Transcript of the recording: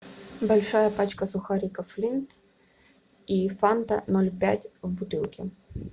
большая пачка сухариков флинт и фанта ноль пять в бутылке